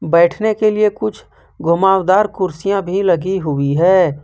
बैठने के लिए कुछ घुमाव दार कुर्सियां भी लगी हुई है।